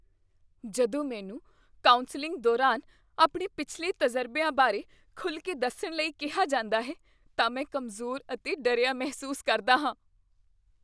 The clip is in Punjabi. ਜਦੋਂ ਮੈਨੂੰ ਕੌਂਸਲਿੰਗ ਦੌਰਾਨ ਆਪਣੇ ਪਿਛਲੇ ਤਜ਼ਰਬਿਆਂ ਬਾਰੇ ਖੁੱਲ੍ਹ ਕੇ ਦੱਸਣ ਲਈ ਕਿਹਾ ਜਾਂਦਾ ਹੈ ਤਾਂ ਮੈਂ ਕਮਜ਼ੋਰ ਅਤੇ ਡਰਿਆ ਮਹਿਸੂਸ ਕਰਦਾ ਹਾਂ।